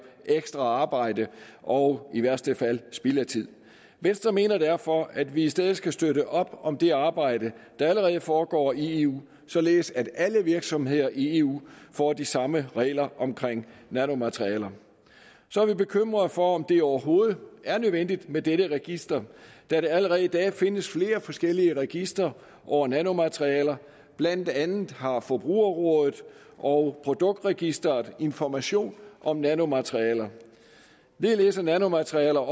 ekstra arbejde og i værste fald spild af tid venstre mener derfor at vi i stedet skal støtte op om det arbejde der allerede foregår i eu således at alle virksomheder i eu får de samme regler om nanomaterialer så er vi bekymret for om det overhovedet er nødvendigt med dette register da der allerede i dag findes flere forskellige registre over nanomaterialer blandt andet har forbrugerrådet og produktregistret information om nanomaterialer ligeledes er nanomaterialer